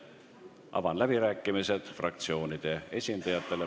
Avan läbirääkimised fraktsioonide esindajatele.